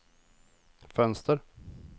fönster